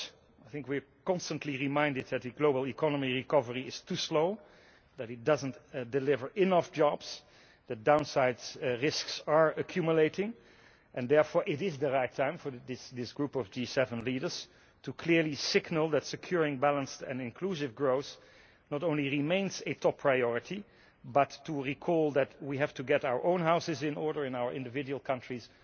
I think we are constantly reminded that the global economy recovery is too slow, that it does not deliver enough jobs, that downside risks are accumulating, and therefore it is the right time for this group of G7 leaders to clearly signal that securing balanced and inclusive growth not only remains a top priority, but to recall that we have to get our own houses in order in our individual countries.